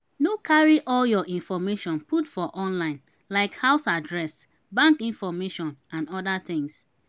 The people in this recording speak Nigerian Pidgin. no carry all your information put for online like house address bank information and oda things